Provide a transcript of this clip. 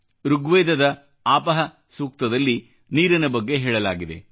ಋಗ್ವೇದದ ಆಪಃ ಸೂಕ್ತದಲ್ಲಿ ನೀರಿನ ಬಗ್ಗೆ ಹೇಳಲಾಗಿದೆ